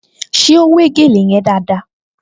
Ṣé ó wé gèlè yẹn dáadáa?